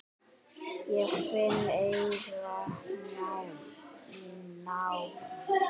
Ég finn enga nánd.